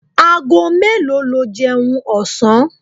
Ago melo lo jeun osan?